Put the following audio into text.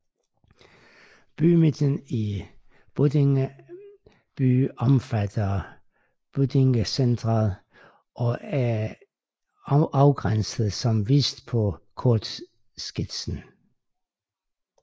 Bymidten i Buddinge by omfatter Buddinge Centret og er afgrænset som vist på kortskitsen